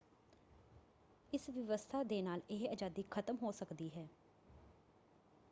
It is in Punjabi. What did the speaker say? ਇਸ ਵਿਵਸਥਾ ਦੇ ਨਾਲ ਇਹ ਆਜ਼ਾਦੀ ਖ਼ਤਮ ਹੋ ਸਕਦੀ ਹੈ।